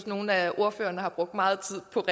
nogle af ordførerne har brugt meget tid på